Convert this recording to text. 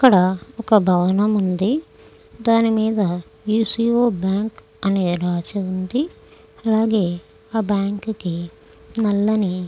ఇక్కడ ఒక భవనం ఉంది. దాని మీద యు-సి-ఒ బ్యాంకు అని రాసి ఉంది. అలాగే ఆ బ్యాంకు కి నల్లని--